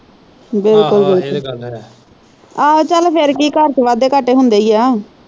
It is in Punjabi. ਬਿਲਕੁਲ ਬਿਲਕੁਲ ਆਹੋ ਚਲ ਫਿਰ ਕੀ ਘਰ ਚ ਵਾਧੇ ਘਾਟੇ ਹੁੰਦੇ ਈਆ।